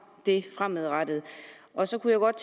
det fremadrettet så kunne jeg godt